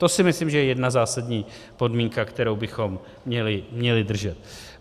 To si myslím, že je jedna zásadní podmínka, kterou bychom měli držet.